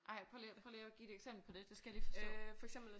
Ej prøv lige prøv lige at give et eksempel på det det skal jeg lige forstå